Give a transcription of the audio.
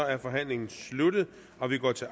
er forhandlingen sluttet og vi går til